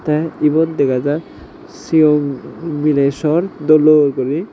tey ebot dega jai sigon miley sor dol dol guri.